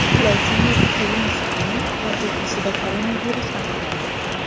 Vladimir Zelenskiyning rafiqasida koronavirus aniqlandi.